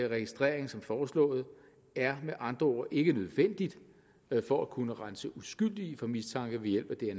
registrering som foreslået er med andre ord ikke nødvendigt for at kunne rense uskyldige for mistanke ved hjælp